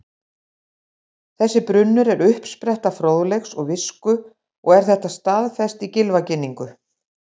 Þessi brunnur er uppspretta fróðleiks og visku og er þetta staðfest í Gylfaginningu: